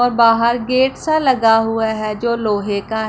और बाहर गेट सा लगा हुआ है जो लोहे का--